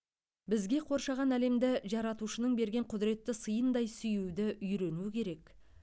бізге қоршаған әлемді жаратушының берген құдіретті сыйындай сүюді үйрену керек